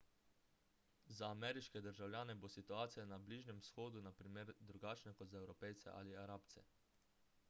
za ameriške državljane bo situacija na bližnjem vzhodu na primer drugačna kot za evropejce ali arabce